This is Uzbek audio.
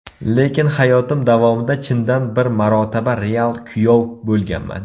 Lekin hayotim davomida chindan bir marotaba real kuyov bo‘lganman.